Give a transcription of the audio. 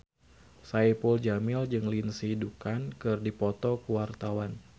Saipul Jamil jeung Lindsay Ducan keur dipoto ku wartawan